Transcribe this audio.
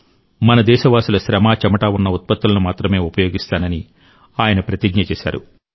మన దేశవాసుల శ్రమ చెమట ఉన్న ఉత్పత్తులను మాత్రమే ఉపయోగిస్తానని ఆయన ప్రతిజ్ఞ చేశారు